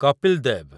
Kapil they've